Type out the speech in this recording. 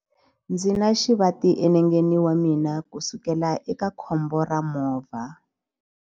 Ndzi na xivati enengeni wa mina kusukela eka khombo ra movha.